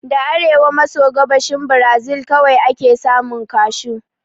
Da a arewa maso gabashin Brazil kawai ake samun Kashu